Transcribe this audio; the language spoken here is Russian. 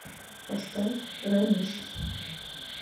поставь рамис